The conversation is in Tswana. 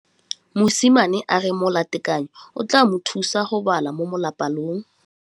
Mosimane a re molatekanyô o tla mo thusa go bala mo molapalong.